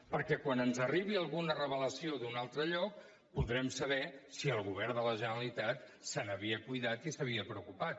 perquè quan ens arribi alguna revelació d’un altre lloc podrem saber si el govern de la generalitat se n’havia cuidat i se n’havia preocupat